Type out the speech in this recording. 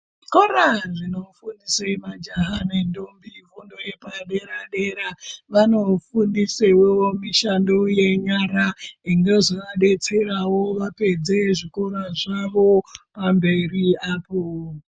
Zvikora zvinofundise majaha nendombi fundo yepaderadera vanofundisewo mishando yenyara inozovadetserawo vapedze zvikora zvavo pamberi apo.